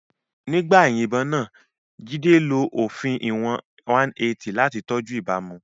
Nígbà ìyìnbọn náà, Jide lo òfin ìwọ̀n 180 láti tọ́jú ìbámu.